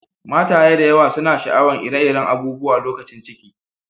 Mataye da yawa suna sha'awan ire-iren abubuwa lokacin ciki.